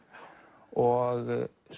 og